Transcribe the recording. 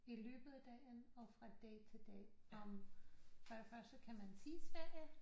I løbet af dagen og fra dag til dag for det første kan man se Sverige